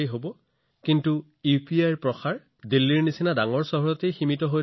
কিন্তু এতিয়া এনে নহয় যে ইউপিআইৰ এই বিস্তাৰ কেৱল দিল্লীৰ দৰে ডাঙৰ চহৰতে সীমাবদ্ধ